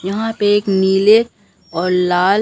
यहां पे एक नीले और लाल--